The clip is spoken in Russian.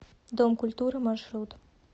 дом культуры маршрут